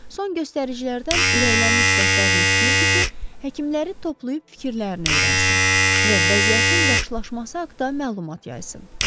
Son göstəricilərdən ürəklənmiş rəhbərlik istəyirdi ki, həkimləri toplayıb fikirlərini öyrənsin və vəziyyətin yaxşılaşması haqda məlumat yazsın.